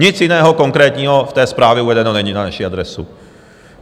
Nic jiného konkrétního v té zprávě uvedeno není na naši adresu.